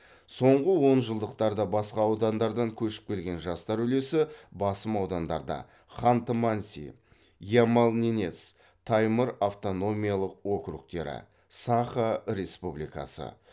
соңғы онжылдықтарда басқа аудандардан көшіп келген жастар үлесі басым аудандарда ханты манси ямал ненец таймыр автономиялық округтері саха республикасы